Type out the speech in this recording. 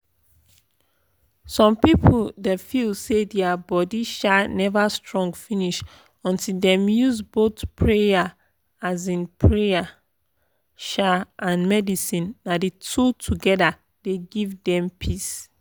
some people da feel say dia body um never strong finish until dem use both prayer um prayer um and medicine na the two together dey give dem peace.